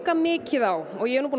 mikið á ég er nú búinn að